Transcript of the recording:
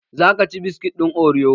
Za ka ci biskit ɗin oriyo?